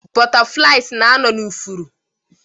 Butterflies na-anọ na ifuru